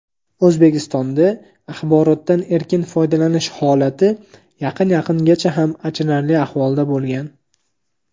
O‘zbekistonda axborotdan erkin foydalanish xolati yaqin yaqingacha xam achinarli ahvolda bo‘lgan.